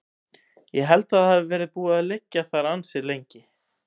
Ég held að það hafi verið búið að liggja þar ansi lengi.